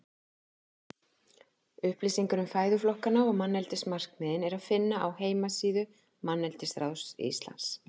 Upplýsingar um fæðuflokkana og manneldismarkmiðin er að finna á heimasíðu Manneldisráðs Íslands.